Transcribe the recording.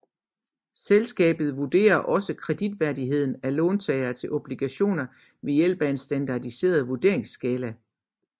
Selskabet vurderer også kreditværdigheden af låntagere til obligationer ved hjælp af en standardiseret vurderingsskala